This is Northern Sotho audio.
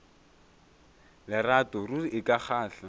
lerato ruri e ka kgahla